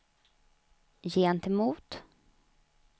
gentemot